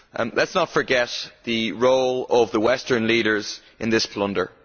Let us not forget the role of the Western leaders in this plunder.